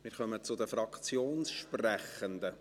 Wir kommen zu den Fraktionssprechenden.